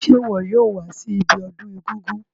Se wo yóò wa si ibiodún egúngún